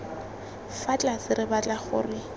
fa tlase re batla gore